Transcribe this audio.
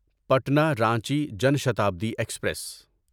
Patna Ranchi Jan Shatabdi express